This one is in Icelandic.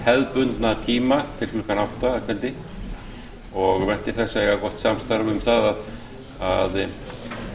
hefðbundna tíma til klukkan átta að kvöldi og væntir þess að eiga gott samstarf um það að